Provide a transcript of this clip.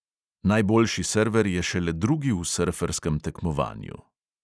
Najboljši server je šele drugi v srferskem tekmovanju.